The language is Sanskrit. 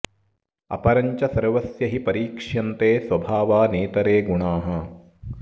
अपरं च सर्वस्य हि परीक्ष्यन्ते स्वभावा नेतरे गुणाः